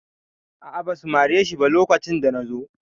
A'a, ba su mare shi ba lokacin da na zo.